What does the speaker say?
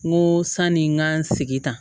N ko sani n ka n sigi tan